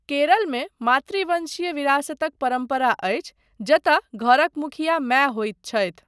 केरलमे मातृवंशीय विरासतक परम्परा अछि जतय घरक मुखिया माय होइत छथि।